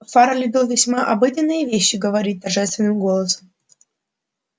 фара любил весьма обыденные вещи говорить торжественным голосом